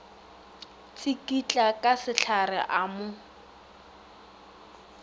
tsikitla ka sehlare a mo